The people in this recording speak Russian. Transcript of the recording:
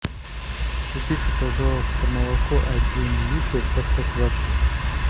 купи пожалуйста молоко один литр простоквашино